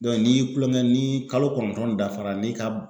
n'i y'i kulon kɛ ni kalo kɔnɔntɔn dafala n'i ka